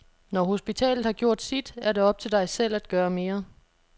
Når hospitalet har gjort sit, er det op til dig selv at gøre mere.